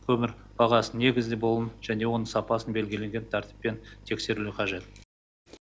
көмір бағасының негізде болуын және оның сапасын белгіленген тәртіппен тексерілуі қажет